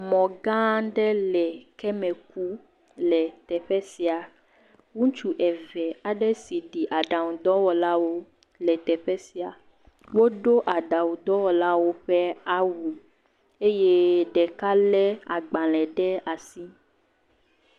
Mɔ gã aɖe le keme kum le teƒe sia, ŋutsu eve aɖe si ɖi ɖaŋɔdɔwɔlawo le teƒe sia. Wodo aɖaŋudɔwɔlawo ƒe awu eye ɖeka le agbalẽ ɖe asi.